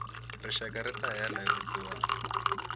rixaka rita hela hi vusiwana